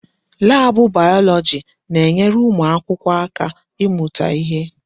Laabụ bayọlọji na-enyere ụmụ akwụkwọ aka ịmụta ihe.